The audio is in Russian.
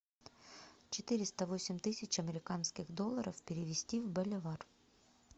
четыреста восемь тысяч американских долларов перевести в боливар